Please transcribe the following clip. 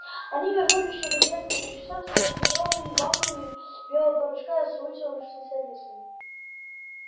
они вернулись через несколько часов с трёхлитровыми банками белого порошка и с вытянувшимися лицами